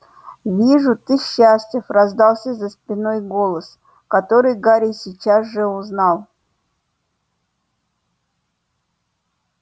вижу ты счастлив раздался за спиной голос который гарри сейчас же узнал